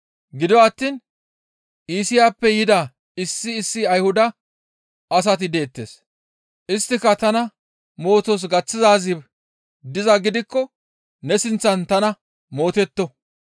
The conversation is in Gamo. Gido attiin Iisiyappe yida issi issi Ayhuda asati deettes; isttaskka tana mootos gaththizaazi dizaa gidikko ne sinththan tana mootetto.